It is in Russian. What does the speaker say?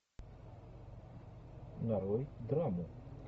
нарой драму